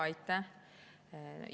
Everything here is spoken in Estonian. Aitäh!